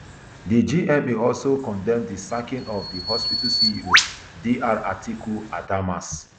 di gma also condemn di sacking of di hospital ceo dr atiku adamas